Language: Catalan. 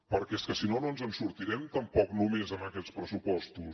perquè és que si no no ens en sortirem tampoc només amb aquests pressupostos